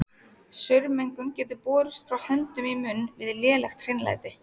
Saurmengun getur borist frá höndum í munn við lélegt hreinlæti.